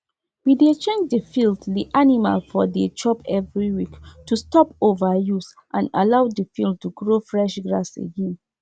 dem no dey allow anybody give their animal food for night make cow no go loss and kata-kata no go dey.